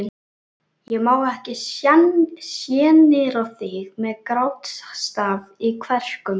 Ég má ekki sjenera þig með grátstaf í kverkum.